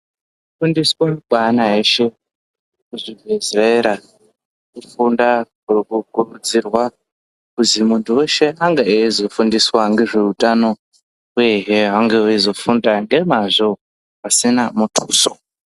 Kufundiswa kweana eshe kuzvibhedhlera, kufunda kwokukurudzirwa, kuzi munhu weshe ange eizofundiswa ngezveutano, uyehe vange veizofunda ngemazvo pasina muthuso.